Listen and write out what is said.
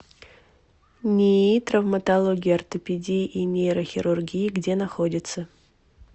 нии травматологии ортопедии и нейрохирургии где находится